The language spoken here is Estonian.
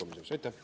Aitäh!